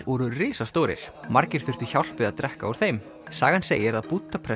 voru risastórir margir þurftu hjálp við að drekka úr þeim sagan segir að